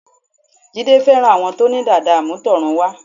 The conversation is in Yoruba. Jídé fẹ́ràn àwọn tó ní dàda àmútọ̀runwá